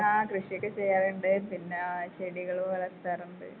ആ കൃഷിയൊക്കെ ചെയ്യാറുണ്ട് പിന്നാ ചെടികള് വളർത്താറുണ്ട്.